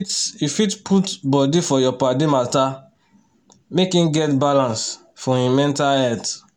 you fit you fit put body for your paddy matter make him get balance for him mental health